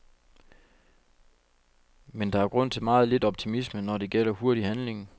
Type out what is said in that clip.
Men der er grund til meget lidt optimisme, når det gælder hurtig handling.